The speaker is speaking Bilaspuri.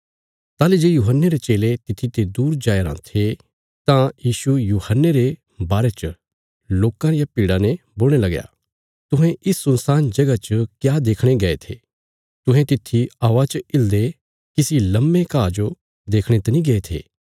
ताहली जे यूहन्ने रे चेले तित्थी ते दूर जाया रां थे तां यीशु यूहन्ने रे बारे च लोकां रिया भीड़ा ने बोलणे लगया तुहें इस सुनसान जगह च क्या देखणे गै थे तुहें तित्थी हवा च हिलदे किसी लम्बे घा जो देखणे तनी गये थे